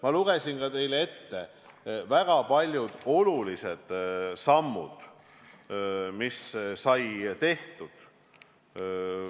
Ma lugesin teile ette väga paljud olulised sammud, mis said tehtud.